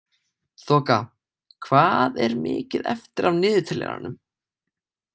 Þoka, hvað er mikið eftir af niðurteljaranum?